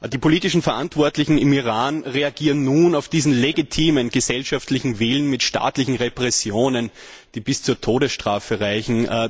Die politisch Verantwortlichen im Iran reagieren nun auf diesen legitimen gesellschaftlichen Willen mit staatlichen Repressionen, die bis zur Todesstrafe reichen.